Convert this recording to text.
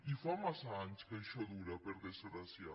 i fa massa anys que això dura per desgràcia